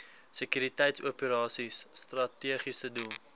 sekuriteitsoperasies strategiese doel